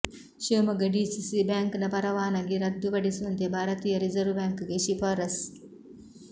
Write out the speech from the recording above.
Shivamogga DCC bank ನ ಪರವಾನಗಿ ರದ್ದು ಪಡಿಸುವಂತೆ ಭಾರತೀಯ ರಿರ್ಸವ್ ಬ್ಯಾಂಕ್ ಗೆ ಶಿಫಾರಸ್ಸು